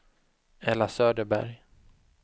Ella Söderberg